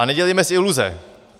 A nedělejme si iluze.